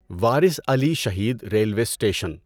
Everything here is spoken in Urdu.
Waris Ali Shaheed railway station